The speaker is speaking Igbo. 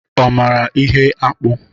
Ọ mara ihe akpụ?